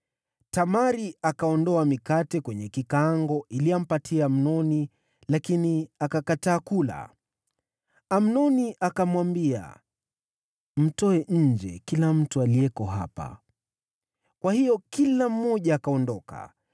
Tamari akaondoa mikate kwenye kikaango ili ampatie Amnoni, lakini akakataa kula. Amnoni akamwambia, “Mtoe nje kila mtu aliyeko hapa.” Kwa hiyo kila mmoja akaondoka.